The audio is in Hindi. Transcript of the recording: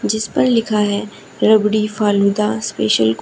जिस पर लिखा है रबड़ी फालूदा स्पेशल --